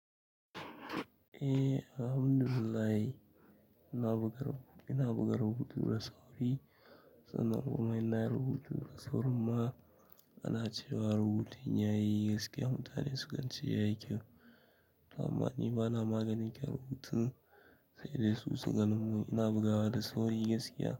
Eh Alhamdulillahi, ina bugar hu ina bugar hutu da sofi sannan kuma ina rubutu da saurin ma ana cewa rubutun ya yi gaskiya mutane su gan ce ya yi kyau. Ama ni bana maganin kyawun rubutu sai dai su sagan mu ina bugawa da sauri gaskiya.